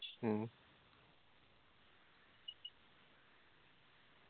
ആ